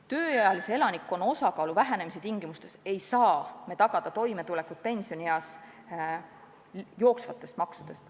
Tööealise elanikkonna osakaalu vähenemise tingimustes ei saa me toimetulekut pensionieas tagada jooksvate maksudega.